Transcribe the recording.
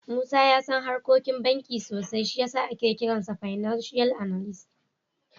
Musa ya san harkokin banki sosai, shi ya sa ake kiransa fananshiyal analis.